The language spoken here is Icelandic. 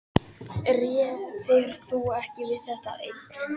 Réðir þú ekki við það einn?